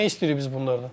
Nə istəyirik biz bunlardan?